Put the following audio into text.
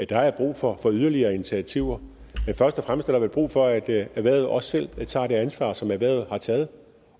der er brug for yderligere initiativer men først og fremmest er der vel brug for at at erhvervet også selv tager det ansvar som erhvervet har taget